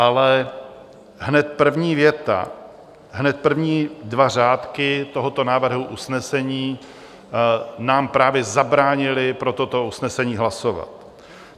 Ale hned první věta, hned první dva řádky, tohoto návrhu usnesení nám právě zabránily pro toto usnesení hlasovat.